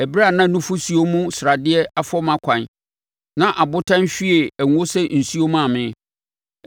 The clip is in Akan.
ɛberɛ a na nufosuo mu sradeɛ afɔ mʼakwan na abotan hwiee ngo sɛ nsuo maa me.